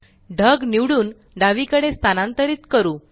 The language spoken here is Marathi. ढग निवडून डावीकडे स्थानांतरीत करू